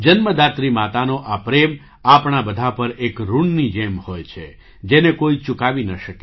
જન્મદાત્રી માતાનો આ પ્રેમ આપણા બધા પર એક ઋણની જેમ હોય છે જેને કોઈ ચુકાવી ન શકે